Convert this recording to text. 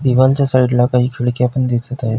दिवनच्या साइडला काही खिडक्या पण दिसत आहे.